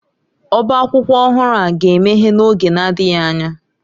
Ọbá akwụkwọ ọhụrụ a ga-emeghe n'oge na-adịghị anya.